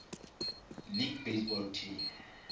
league baseball team